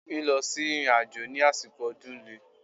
Lílọ sí ìrìnàjò ní àsìkò ọdún le.